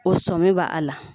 O sɔmi bɛ a la